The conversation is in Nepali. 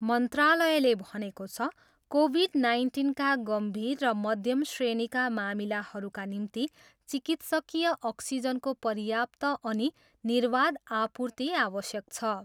मन्त्रालयले भनेको छ, कोभिड नाइन्टिनका गम्भीर र मध्यम श्रेणीका मामिलाहरूका निम्ति चिकित्सकीय अक्सिजनको पर्याप्त अनि निर्वाध आपूर्ति आवश्यक छ।